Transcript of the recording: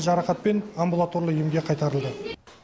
жарақатпен амбулаторлы емге қайтарылды